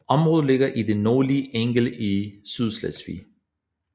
Området ligger i det nordlige Angel i Sydslesvig